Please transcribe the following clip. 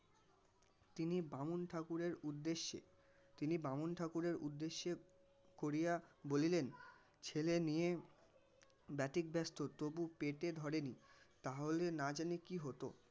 তিনি বামুন ঠাকুরের উদ্দেশ্যে তিনি বামুন ঠাকুরের উদ্দেশ্যে করিয়া বলিলেন ছেলে নিয়ে ব্যাতিব্যস্ত তবু পেটে ধরেনি তাহলে না জানি কি হত.